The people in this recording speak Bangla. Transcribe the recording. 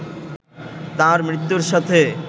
তার মৃত্যুর সাথে